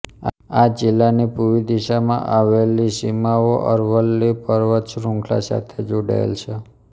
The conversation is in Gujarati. આ જિલ્લાની પૂવી દિશામાં આવેલી સીમાઓ અરવલ્લી પર્વત શ્રૃંખલા સાથે જોડાયેલ છે